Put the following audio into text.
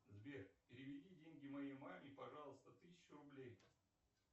сбер переведи деньги моей маме пожалуйста тысячу рублей